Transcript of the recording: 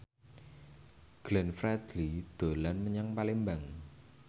Glenn Fredly dolan menyang Palembang